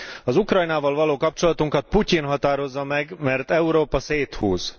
Az Ukrajnával való kapcsolatunkat Putyin határozza meg, mert Európa széthúz.